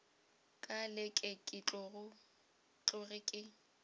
ka leke ke tloge ke